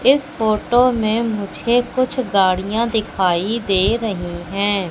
इस फोटो में मुझे कुछ गाड़ियां दिखाई दे रही है।